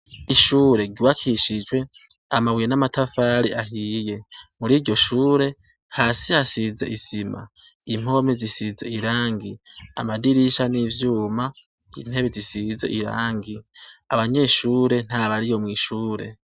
Ishure giwakishijwe amabuye n'amatafari ahiye muri ryo shure hasi hasize isima impomi zisiza irangi amadirisha n'ivyuma intebe zisize irangi abanyeshure nta bari yo mw'ishure.